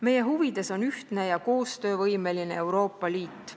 Meie huvides on ühtne ja koostöövõimeline Euroopa Liit.